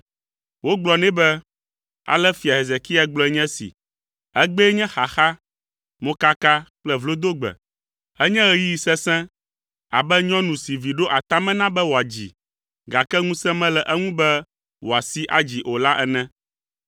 Wogblɔ nɛ be, Ale fia Hezekia gblɔe nye esi: “Egbee nye xaxa, mokaka kple vlodogbe. Enye ɣeyiɣi sesẽ abe nyɔnu si vi ɖo atame na be wòadzi, gake ŋusẽ mele eŋu be woasii adzi o la ene.